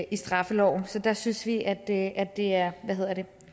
i straffeloven så der synes vi at det er